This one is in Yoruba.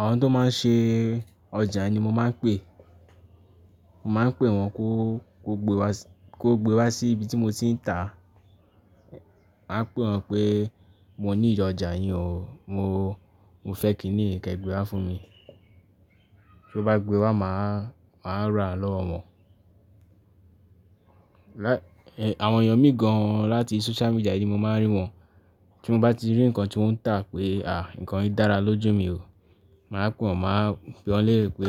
Àwọn tó máa ń ṣe ọjà ni mo máa ń pè. Mo máa ń pè wọ́n kó, kó gbe wá, kó gbe wá sí ibi tí mo ti ń tà. Máa pè wọ́n pé mo nílo ọjà yín o, mo, mo fẹ́ kí nì yi kẹ́ gbé wá fún mi. Bí ó bá gbé wá máa, máa rà lọ́wọ́ wọn. Lá-- ẹ, àwọn èèyàn méjì gan an láti social media ni mo máa ń rí wọn. Tí mo bá ti rí nǹkan tí wọ́n ń tà pé àá nǹkan yìí dára lójú mi o. Màá pe wọ́n, máa bi wọ́n lérè pé